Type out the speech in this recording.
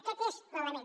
aquest és l’element